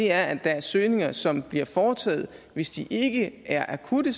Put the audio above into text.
er at der er søgninger som bliver foretaget hvis de ikke er akutte